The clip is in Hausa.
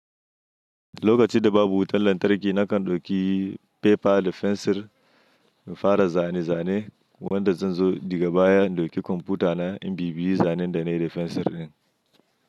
Lokacin da babu wutan lantarki nakan dauki pepa da fensir in fara zane zane, wanda zan zo daga baya in dauki kwamfuta na in bibiye zanen da nayi da fensir din.